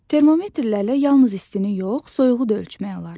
Termometrlərlə yalnız istini yox, soyuğu da ölçmək olar.